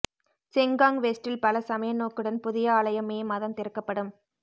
Sengkang வெஸ்டில் பல சமய நோக்குடன் புதிய ஆலயம் மே மாதம் திறக்கப்படும்